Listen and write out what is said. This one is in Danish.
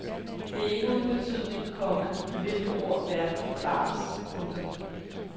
Det er ikke uden betydning, komma med hvilke ord verden forklares. punktum